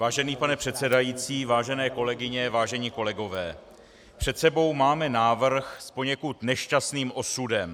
Vážený pane předsedající, vážené kolegyně, vážení kolegové, před sebou máme návrh s poněkud nešťastným osudem.